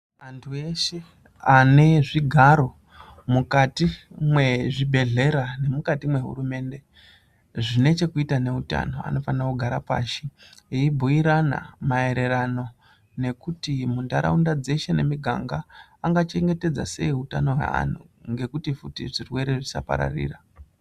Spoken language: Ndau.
Antu eshe ane zvigaro mukati mwezvibhedhlera nemwukati mwehurumende zvine chekuita neutano, anofane kugara pashi eyibhuyirana maererano nekuti muntaraunda dzeshe nemiganga angachengetedza sei utano hweanhu ngekuti futi zvirwere zvisapararira.